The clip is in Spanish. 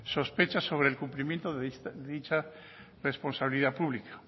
sospechas sobre el cumplimiento de dicha responsabilidad pública